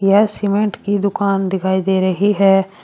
यह सीमेंट की दुकान दिखाई दे रही है।